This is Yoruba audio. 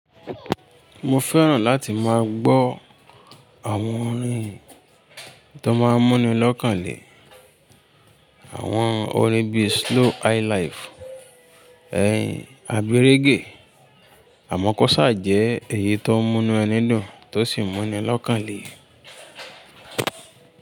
Mo fẹ́ràn láti máa gbọ́ àwọn orin tó máa ń mú ni lọ́kàn le, àwọn orin bíi slow high life, abi regẹ̀. Àmọ́ kó ṣà jẹ́ èyí tó ń mú nù ẹni dùn, tó sì ń mú ni lọ́kàn le.